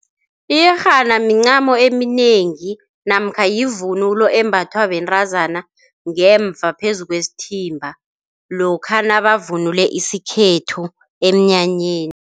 Iyerhana mincamo eminengi namkha yivunulo embathwa bentazana ngemva phezu kwesithimba, lokha nabavunule isikhethu emnyanyeni.